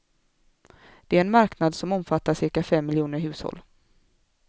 Det är en marknad som omfattar cirka fem miljoner hushåll.